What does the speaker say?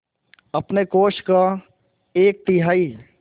अपने कोष का एक तिहाई